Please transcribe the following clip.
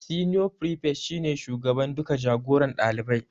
Senior prefect shi ne shugaban duka jagoran ɗalibai